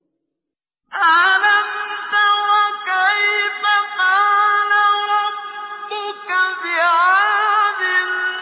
أَلَمْ تَرَ كَيْفَ فَعَلَ رَبُّكَ بِعَادٍ